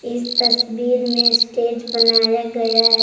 इस तस्वीर मे स्टेज बनाया गया है।